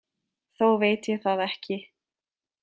Þó veit ég það ekki.